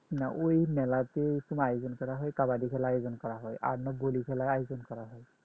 না এরকম কোন আয়োজন করা হয় কবাডি খেলার আয়োজন করা হয় আর আপনার খেলার আয়োজন করা হয়